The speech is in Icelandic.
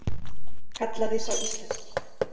Kallaði sá íslenski.